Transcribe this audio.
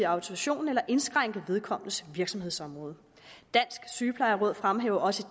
autorisation eller indskrænke vedkommendes virksomhedsområde dansk sygeplejeråd fremhæver også